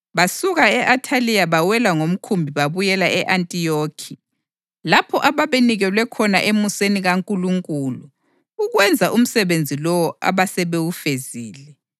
Besuka e-Athaliya bawela ngomkhumbi babuyela e-Antiyokhi, lapho ababenikelwe khona emuseni kaNkulunkulu ukwenza umsebenzi lowo abasebewufezile.